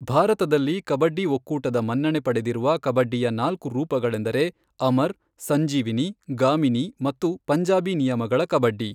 ಭಾರತದಲ್ಲಿ ಕಬಡ್ಡಿ ಒಕ್ಕೂಟದ ಮನ್ನಣೆ ಪಡೆದಿರುವ ಕಬಡ್ಡಿಯ ನಾಲ್ಕು ರೂಪಗಳೆಂದರೆ ಅಮರ್, ಸಂಜೀವಿನಿ, ಗಾಮಿನೀ ಮತ್ತು ಪಂಜಾಬಿ ನಿಯಮಗಳ ಕಬಡ್ಡಿ.